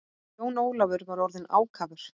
Jón Ólafur var orðinn ákafur.